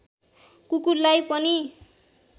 कुकुरलाई पनि